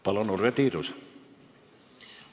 Palun, Urve Tiidus!